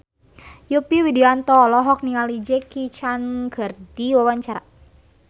Yovie Widianto olohok ningali Jackie Chan keur diwawancara